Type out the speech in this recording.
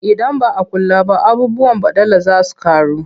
Idan ba a kula ba abubuwan baɗala za su ƙaru.